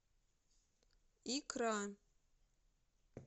икра